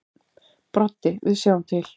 Broddi: Við sjáum til.